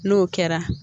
N'o kɛra